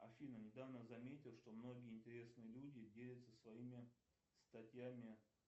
афина недавно заметил что многие интересные люди делятся своими статьями